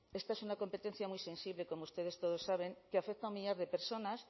esta es una competencia muy sensible como ustedes todos saben que afecta a un millar de personas